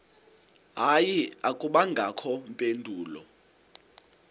hayi akubangakho mpendulo